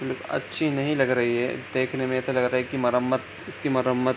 अच्छी नहीं लग रही है देखने में ऐसा लग रहा है की मरम्मत इसकी मरम्मत --